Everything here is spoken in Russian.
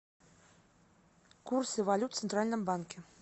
курсы валют в центральном банке